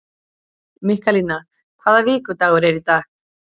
Mikkalína, hvaða vikudagur er í dag?